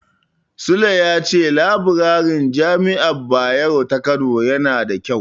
Sule ya ce labirarin Jami'ar Bayero ta Kano yana da ƙyau.